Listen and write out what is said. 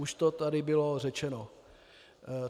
Už to tady bylo řečeno.